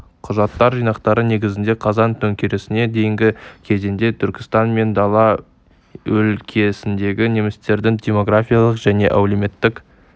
құжаттар жинақтары негізінде қазан төңкерісіне дейінгі кезеңде түркістан мен дала өлкесіндегі немістердің демографиялық және әлеуметтік